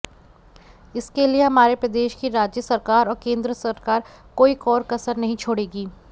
इसके लिए हमारे प्रदेश की राज्य सरकार और केन्द्र सरकार कोई कोर कसर नहीं छोड़ेगी